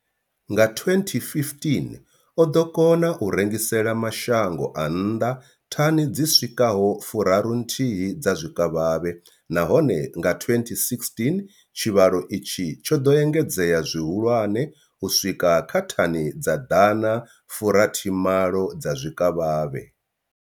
Nga 2015, o ḓo kona u rengisela mashango a nnḓa thani dzi swikaho furaru nthihi dza zwikavhavhe, nahone nga 2016 tshivhalo itshi tsho ḓo engedzea zwihulwane u swika kha thani dza ḓana fu rathi malo dza zwikavhavhe.